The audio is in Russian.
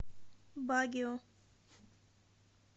багио